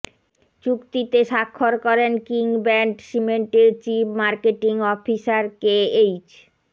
চুক্তিতে স্বাক্ষর করেন কিং ব্র্যান্ড সিমেন্টের চিফ মার্কেটিং অফিসার কেএইচ